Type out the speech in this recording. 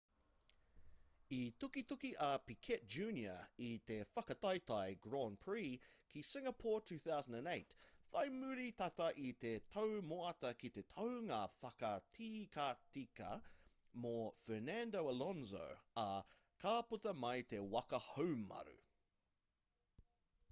i tukituki a piquet jr i te whakataetae grand prix ki singapore 2008 whai muri tata i te tau moata ki te taunga whakatikatika mō fernando alonso ā ka puta mai te waka haumaru